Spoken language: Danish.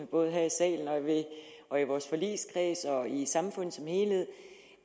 både her i salen og i vores forligskreds og i samfundet som helhed